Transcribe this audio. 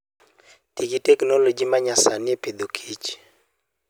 Ti gi teknoloji ma nyasani e Agriculture and Food.